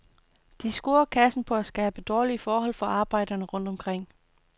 De scorer kassen på at skabe dårlige forhold for arbejderne rundt omkring.